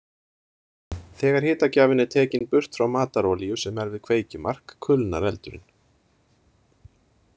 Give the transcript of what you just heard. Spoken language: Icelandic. Þegar hitagjafinn er tekinn burt frá matarolíu sem er við kveikjumark kulnar eldurinn.